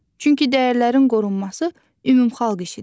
Çünki dəyərlərin qorunması ümumxalq işidir.